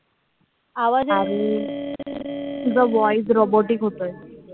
तुझा voice robotic होतोय.